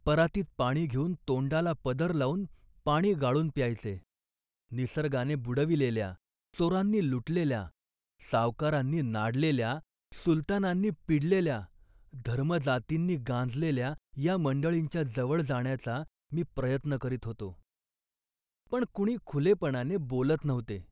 परातीत पाणी घेऊन तोंडाला पदर लावून पाणी गाळून प्यायचे. निसर्गाने बुडविलेल्या, चोरांनी लुटलेल्या, सावकारांनी नाडलेल्या, सुलतानांनी पिडलेल्या, धर्मजातींनी गांजलेल्या या मंडळींच्या जवळ जाण्याचा मी प्रयत्न करीत होतो, पण कुणी खुलेपणाने बोलत नव्हते